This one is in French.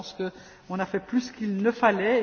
Je pense qu'on a fait plus qu'il ne fallait.